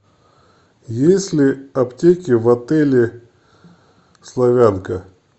есть ли аптеки в отеле славянка